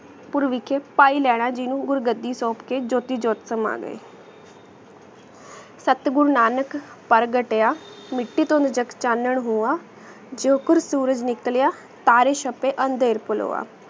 ਪੁਰ ਵਿਖ੍ਯ ਫਾਇ ਲੀਨਾ ਜਿਨੂ ਗੁਰ ਗਦੀ ਸੋਂਪ ਕੇ ਜੋਤੀ ਜੋ ਤ੍ਮ੍ਹਾਰੀ ਸਾਥ ਬੂਰ ਨਾਨਕ ਪਰ ਘਟਿਯਾ ਮਿੱਟੀ ਤੋਂਦ ਚਾਨਣ ਹੁਵਾ ਜੋ ਕੁਰ ਸੂਰਜ ਨਿਕ੍ਲਿਯਾ ਤਾਰੀ ਸ਼ਬੀ ਅੰਦਿਰ ਪੁਲਵਾ